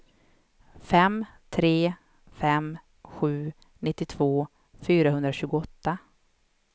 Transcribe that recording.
fem tre fem sju nittiotvå fyrahundratjugoåtta